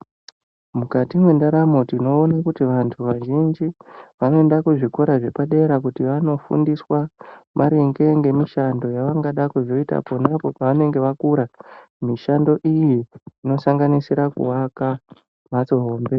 Mukati mwendaramo tinoona kuti vantu vazhinji vanoenda kuzvikora zvepadera kuti vanofundiswa maringe ngemishando yavangada kuzoita pona pevanenge vakura. Mishando iyi inosangnisira kuvaka mhatso hombe.